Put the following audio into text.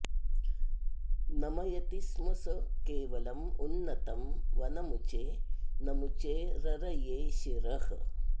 नमयति स्म स केवलं उन्नतं वनमुचे नमुचेररये शिरः